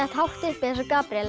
hátt uppi eins og Gabríel